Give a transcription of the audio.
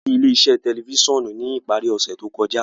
A lọ si ile-iṣẹ tẹlifisiọnu ni ipari ose to kọja.